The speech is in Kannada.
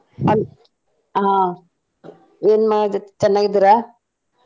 ಅಲ್ಲ್ ಹಾ ಏನ್ ಮಾಡಕತ್ತೀರ್ ಚೆನ್ನಾಗಿದ್ದೀರಾ?